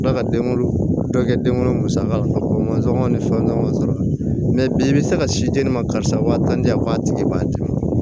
Tila ka den wolo dɔ kɛ den wolo masaka man sɔn ni fɛn wɛrɛw sɔrɔ la bi i bɛ se ka si di ne ma karisa wa tan di yan k'a tigi b'a d'i ma